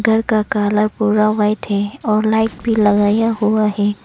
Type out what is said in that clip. घर का काला गोरा व्हाइट है और लाइट भी लगाया हुआ है।